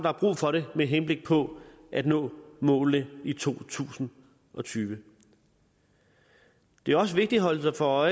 er brug for det med henblik på at nå målene i to tusind og tyve det er også vigtigt at holde sig for